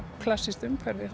klassískt umhverfi